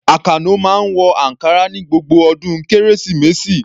Àkànó máa ń wọ ankara ní gbogbo ọdún Kérésìmesì.